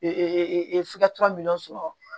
minɛnw sɔrɔ